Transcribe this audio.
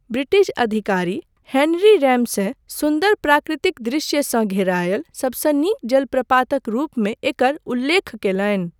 British अधिकारी Henry Ramsay सुन्दर प्राकृतिक दृश्यसँ घेरायल सबसँ नीक जलप्रपातक रूपमे एकर उल्लेख कयलनि।